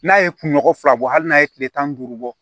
N'a ye kunɲɔgɔn fila bɔ hali n'a ye kile tan ni duuru bɔ